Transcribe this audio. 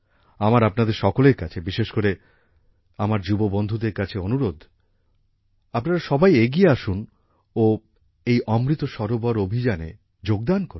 আমার আপনাদের সকলের কাছে বিশেষ করে আমার যুববন্ধুদের কাছে অনুরোধ আপনারা সবাই এগিয়ে আসুন ও এই অমৃত সরোবর অভিযানে যোগদান করুন